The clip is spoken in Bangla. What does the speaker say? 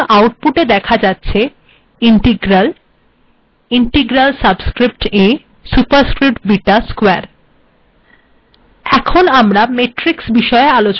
দেখুন আউটপুটে দেখা যাচ্ছে integral integral subscript a superscript beta square